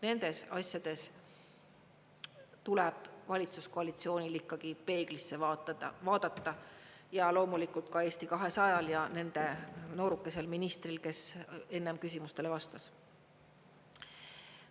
Nendes asjades tuleb valitsuskoalitsioonil ikkagi peeglisse vaadata, loomulikult ka Eesti 200-l ja nende noorukesel ministril, kes enne küsimustele vastas.